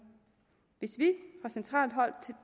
hvis vi fra centralt hold